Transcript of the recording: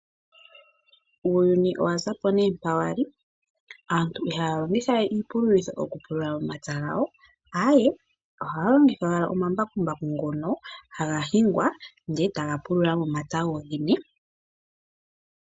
Uuyuni owazapo mpa wali. Aantu ihaya longitha we iipululo okupulula omapya gawo, ihe ohaya longitha owala omambakumbaku ngono haga hingwa, e taga pulula momapya gooyene yago.